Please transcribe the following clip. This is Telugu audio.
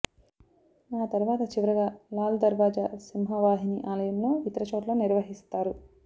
ఆతరువాత చివరిగా లాల్ దర్వాజ సింహవాహిని ఆలయంలో ఇతర చోట్ల నిర్వహిస్తారు